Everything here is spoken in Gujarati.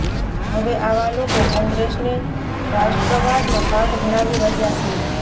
હવે આવા લોકો કોંગ્રેસને રાષ્ટ્રવાદનો પાઠ ભણાવી રહ્યા છે